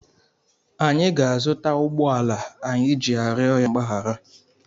Anyị ga-azụta ụgbọala anyị ji arịọ ya mgbaghara.